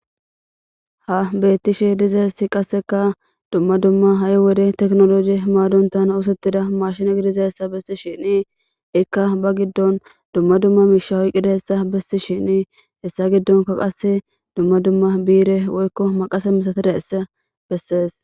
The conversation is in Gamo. Ha beettishe dizaessi qasseka dumma dumma ha7i wode teknoloji himaadontan oosottida mashina idizaessa bessi shinii ikka ba giddon dumma dumma miishahoy qidaessa bessi shinii hessa giddonka qasse dumma dumma biire woykko maqasa misatira essa bessees.